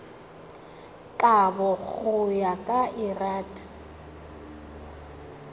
kabo go ya ka lrad